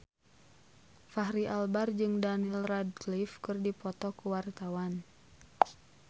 Fachri Albar jeung Daniel Radcliffe keur dipoto ku wartawan